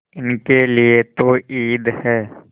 इनके लिए तो ईद है